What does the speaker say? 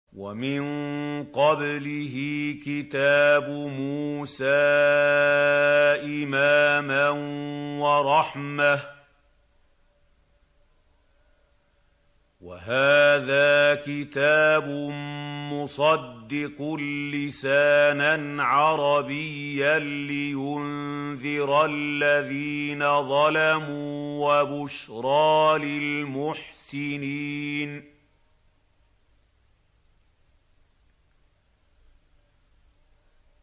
وَمِن قَبْلِهِ كِتَابُ مُوسَىٰ إِمَامًا وَرَحْمَةً ۚ وَهَٰذَا كِتَابٌ مُّصَدِّقٌ لِّسَانًا عَرَبِيًّا لِّيُنذِرَ الَّذِينَ ظَلَمُوا وَبُشْرَىٰ لِلْمُحْسِنِينَ